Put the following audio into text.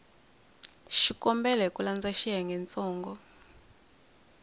xikombelo hi ku landza xiyengentsongo